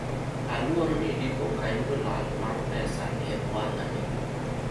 naogopa huenda nitapoteza pesa katika biashara hii